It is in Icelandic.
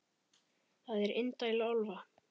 Það er indæl álfa.